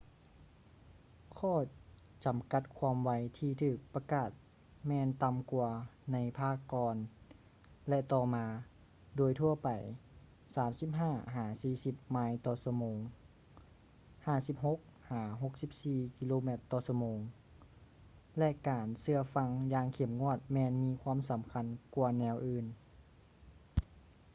ຂໍ້ຈຳກັດຄວາມໄວທີ່ຖືກປະກາດແມ່ນຕໍ່າກ່ວາໃນພາກກ່ອນ ແລະ ຕໍ່ມາ - ໂດຍທົ່ວໄປ 35-40 ໄມລ໌ຕໍ່ຊົ່ວໂມງ 56-64 ກມ / ຊມ - ແລະ ການເຊື່ອຟັງຢ່າງເຂັ້ມງວດແມ່ນມີຄວາມສຳຄັນກວ່າແນວອື່ນ